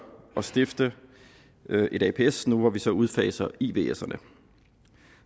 at stifte et aps nu hvor vi så udfaser ivserne